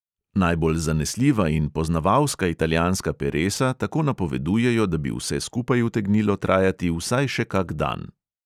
Najbolj zanesljiva in poznavalska italijanska peresa tako napovedujejo, da bi vse skupaj utegnilo trajati vsaj še kak dan.